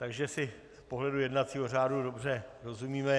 Takže si z pohledu jednacího řádu dobře rozumíme.